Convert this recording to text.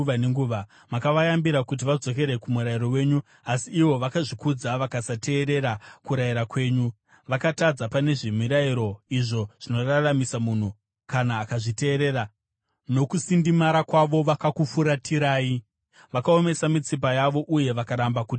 “Makavayambira kuti vadzokere kumurayiro wenyu, asi ivo vakazvikudza vakasateerera kurayira kwenyu. Vakatadza pane zvemirayiro, izvo zvinoraramisa munhu kana akazviteerera. Nokusindimara kwavo vakakufuratirai, vakaomesa mitsipa yavo uye vakaramba kuteerera.